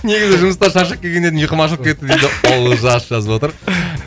негізі жұмыстан шаршап келген едім ұйқым ашылып кетті дейді олжас жазып отыр